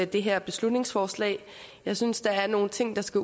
det her beslutningsforslag jeg synes der er nogle ting der skal